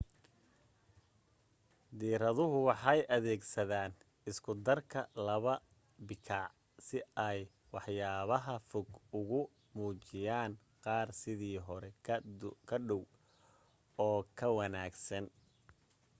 diiraduhu waxay adeegsadaan isku darka laba bikaac si ay waxyaabaha fog ugu muujiyaan qaar sidii hore ka dhow oo ka waawayn